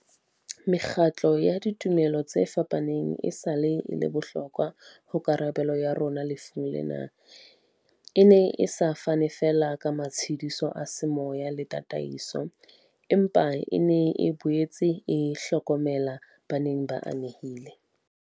Mekgatlo ya ditumelo tse fapaneng esale e le bohlokwa ho karabelo ya rona lefung lena, e ne e sa fane feela ka matshediso a semoya le ta taiso, empa e ne e boetse e hlokomela ba neng ba ame hile